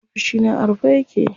Ofishina a rufe yake.